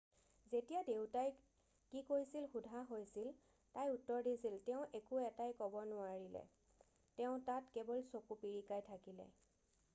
"যেতিয়া দেউতাই কি কৈছিল সোধা হৈছিল তাই উত্তৰ দিছিল "তেওঁ একো এটাই নোৱাৰিলে ক'ব - তেওঁ তাত কেৱল চকু পিৰিকিয়াই থাকিলে'।""